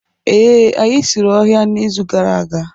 ee, anyị sụrụ ọhịa n'izu gara aga